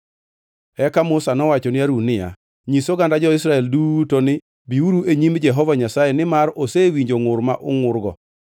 Eka Musa nowacho ni Harun niya, “Nyis oganda jo-Israel duto ni, ‘Biuru e nyim Jehova Nyasaye, nimar osewinjo ngʼur ma ungʼurgo.’ ”